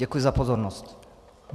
Děkuji za pozornost.